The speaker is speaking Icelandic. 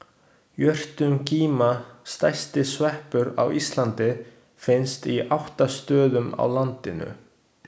Jötungíma, stærsti sveppur á Íslandi, finnst á átta stöðum á landinu.